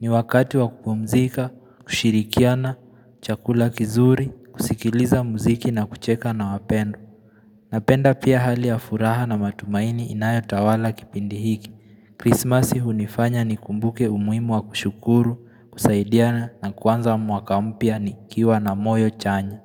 ni wakati wa kupumzika, kushirikiana, chakula kizuri, kusikiliza muziki na kucheka na wapendo Napenda pia hali ya furaha na matumaini inayotawala kipindi hiki Krismasi hunifanya nikumbuke umuhimu wa kushukuru, kusaidiana na kuanza mwaka mpya nikiwa na moyo chanya.